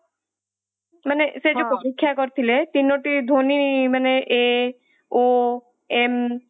ମାନେସେଇ ଯୋଊ ହଁ ପରୀକ୍ଷା କରିଥିଲେ ତିନୋଟି ଧ୍ୱନି ମାନେ a,o,m